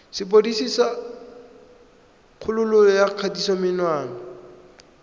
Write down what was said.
sepodisi sa kgololo ya kgatisomenwa